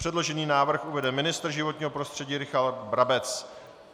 Předložený návrh uvede ministr životního prostředí Richard Brabec.